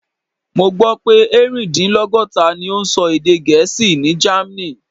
Mo gbó pé erin-din-logota ni ó ń sọ èdè Gẹ̀ẹ́sì ní Germany.